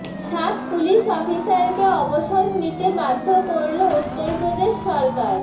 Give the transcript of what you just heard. সাত পুলিশ অফিসারকে অবসর নিতে বাধ্য করল উত্তরপ্রদেশ সরকার